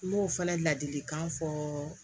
N b'o fana ladilikan fɔ